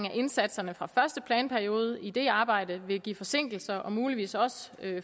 af indsatserne fra første planperiode i det arbejde vil give forsinkelser og vil muligvis også